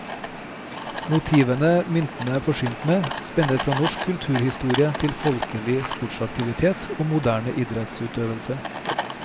Motivene myntene er forsynt med, spenner fra norsk kulturhistorie til folkelig sportsaktivitet og moderne idrettsøvelse.